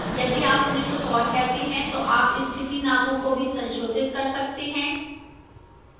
यदि आप उन्हें कुछ और कहते हैं तो आप स्थिति नामों को भी संशोधित कर सकते हैं